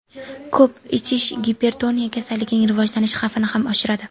Ko‘p ichish gipertoniya kasalligining rivojlanish xavfini ham oshiradi.